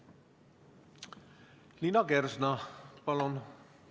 Liina Kersna, palun!